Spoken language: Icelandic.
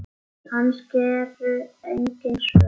Kannski eru engin svör.